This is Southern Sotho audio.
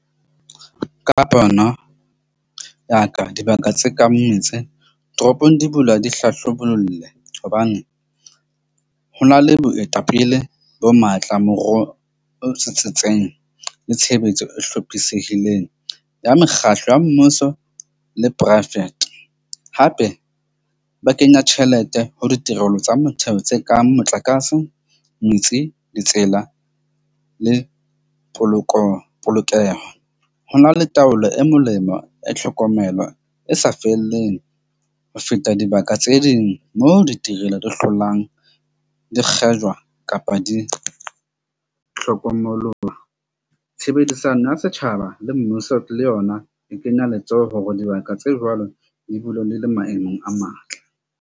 Ka pono ya ka dibaka tse kang metse toropong, di bula, di . Hobane ho na le boetapele bo matla, moroho o tsitsitseng le tshebetso e hlophisehileng ya mekgatlo ya mmuso le private. Hape ba kenya tjhelete ho ditirelo tsa motheo tse kang motlakase, metsi, ditsela le poloko, polokeho. Ho na le taolo e molemo e tlhokomelo e sa felleng ho feta dibaka tse ding moo ditirelo di hlolang, di kgeswa, kapa di hlokomoloha. Tshebedisano ya setjhaba le mmuso le yona e kenya letsoho hore dibaka tse jwalo di bulele le maemong a matle.